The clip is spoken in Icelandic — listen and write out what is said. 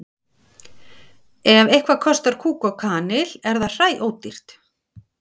Ef eitthvað kostar kúk og kanil er það hræódýrt.